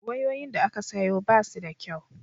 wayoyin da aka sayo basu da kyau